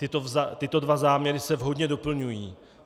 Tyto dva záměry se vhodně doplňují.